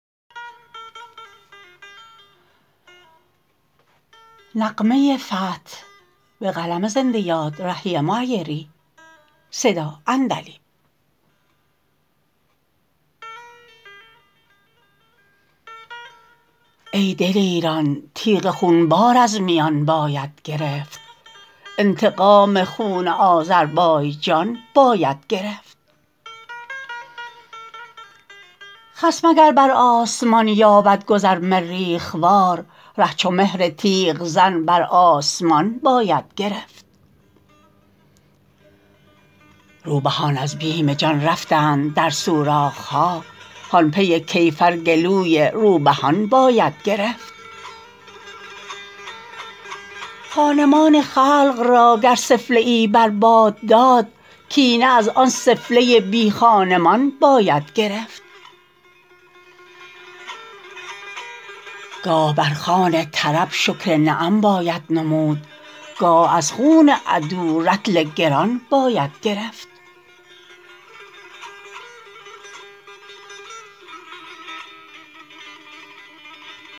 ای دلیران تیغ خونبار از میان باید گرفت انتقام خون آذربایجان باید گرفت خصم اگر بر آسمان یابد گذر مریخ وار ره چو مهر تیغ زن بر آسمان باید گرفت روبهان از بیم جان رفتند در سوراخ ها هان پی کیفر گلوی روبهان باید گرفت خانمان خلق را گر سفله ای بر باد داد کینه از آن سفله بی خانمان باید گرفت گاه بر خوان طرب شکر نعم باید نمود گاه از خون عدو رطل گران باید گرفت